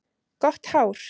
Gott hár.